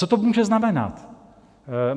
Co to může znamenat?